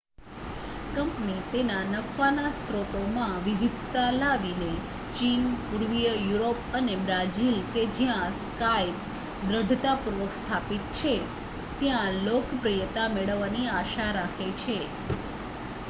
company તેના નફાના સ્રોતોમાં વિવિધતા લાવીને ચીન પૂર્વીય યુરોપ અને બ્રાઝિલ કે જ્યાં skype દૃઢતાપૂર્વક સ્થાપિત છે ત્યાં લોકપ્રિયતા મેળવવાની આશા રાખે છે